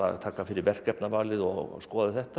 taka fyrir verkefnavalið og skoða þetta